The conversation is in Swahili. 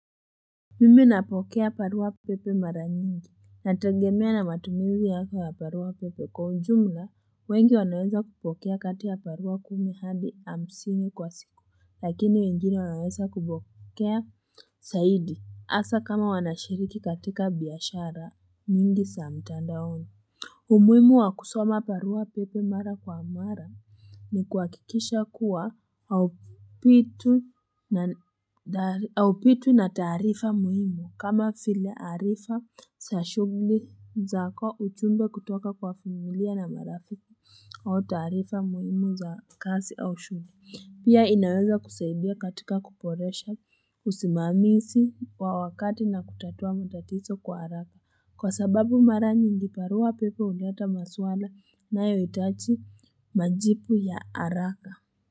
Mimi napokea barua pepe mara nyingi nategemea na matumizi yako ya barua pepe kwa ujumla wengi wanaweza kupokea kati ya barua kumi hadi hamsini kwa siku lakini wengine wanaweza kupokea zaidi hasa kama wanashiriki katika biashara nyingi za mtandaoni umuhimu wa kusoma barua pepe mara kwa mara ni kuhakikisha kuwa haupi haupitwi na taarifa muhimu kama zile arifa za shughuli zako ujumbe kutoka kwa familia na marafiki au taarifa muhimu za kazi au shughuli pia inaweza kusaidia katika kuboresha usimamizi wa wakati na kutatua matatizo kwa haraka kwa sababu mara nyingi barua pepe huleta maswala inayohitaji majibu ya haraka.